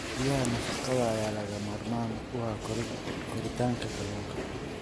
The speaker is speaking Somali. Biyaha nafaqada leh ayaa lagama maarmaan u ah koritaanka kalluunka.